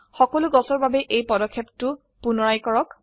সকলো গছৰ বাবে এই পদক্ষেপটো পুনৰায় কৰক